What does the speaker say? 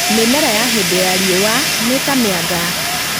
Mĩmera ya hĩndĩ ya riũa nĩta mĩanga